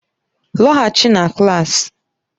Lọghachi na klaasị!